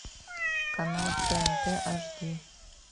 канал тнт аш ди